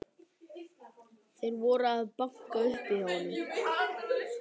Þeir voru að banka upp á hjá honum.